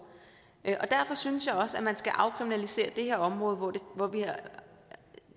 derfor synes jeg også at man skal afkriminalisere det her område hvor der